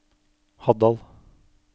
Haddal